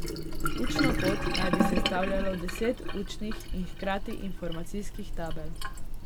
Učno pot naj bi sestavljalo deset učnih in hkrati informacijskih tabel.